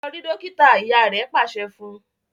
lọ rí dókítà! ìyá rẹ pàṣẹ fún.